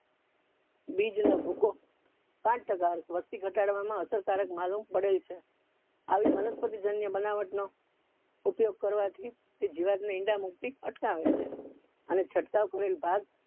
બીજ નો ભૂકો પાંચ ટકા અ વસ્તી ઘટાડવા માં અસરકારક માલુમ પડે છે આવી વનસ્પતિ જન્ય બનાવટ નો ઉપયોગ કરવા થી તે જીઆવ્ત ને ઈંડા મુક્તિ અટકાવે છે અને છટકાવ કરેલ ભાગ